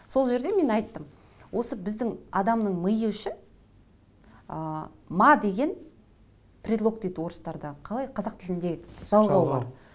сол жерде мен айттым осы біздің адамның миы үшін ы ма деген предлог дейді орыстарда қалай қазақ тіліндегі жалғау